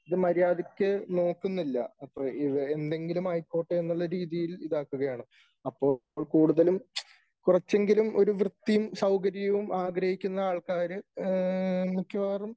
ഇത് മര്യാദയ്ക്ക് നോക്കുന്നില്ല . എന്തെങ്കിലും ആയിക്കോട്ടെ എന്നുള്ള രീതിയിൽ ഇതാക്കുകയാണ്. അപ്പോൾ കൂടുതലും കുറച്ചെങ്കിലും ഒരു വൃത്തിയും സൌകര്യവും ആഗ്രഹിക്കുന്ന ആൾക്കാര് മിക്കവാറും